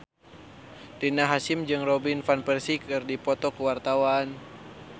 Rina Hasyim jeung Robin Van Persie keur dipoto ku wartawan